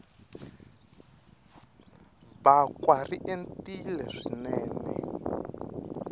bakwa ri entile swinene